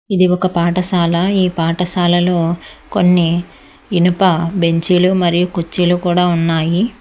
ఇది ఒక పాఠశాల ఈ పాఠశాలలో కొన్ని ఇనుప బెంచీలు మరియు కుర్చీలు కూడా ఉన్నాయి.